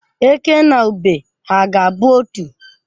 Eke na ube ha ga-abụ otu?